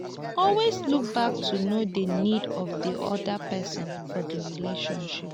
always look back to know di needs of di oda person for di relationship